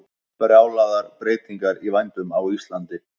Brjálaðar breytingar í vændum á Íslandi